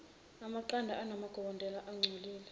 amaqanda anamagobolondo angcolile